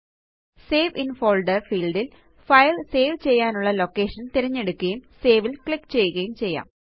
save in folder field ല് file save ചെയ്യാനുള്ള ലൊക്കേഷന് തിരഞ്ഞെടുക്കുകയും സേവ് ല് ക്ലിക്ക് ചെയ്യുകയും ചെയ്യാം